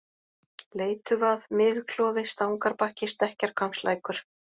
Bleytuvað, Mið-Klofi, Stangarbakki, Stekkjarhvammslækur